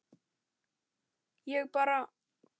ég bara